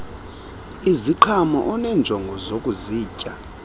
iziqhamo oneenjongo zokuzitya